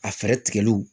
A fɛɛrɛ tigɛliw